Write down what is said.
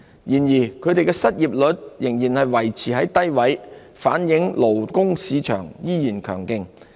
然而，他們的失業率仍維持在低位，反映勞工市場仍然強勁。